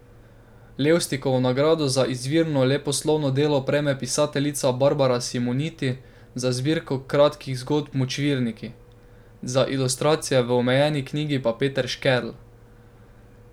Levstikovo nagrado za izvirno leposlovno delo prejme pisateljica Barbara Simoniti za zbirko kratkih zgodb Močvirniki, za ilustracije v omenjeni knjigi pa Peter Škerl.